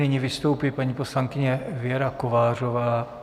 Nyní vystoupí paní poslankyně Věra Kovářová.